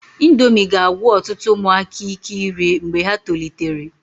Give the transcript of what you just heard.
Indomi ga-agwụ ọtụtụ ụmụaka ike iri mgbe ha tolitere.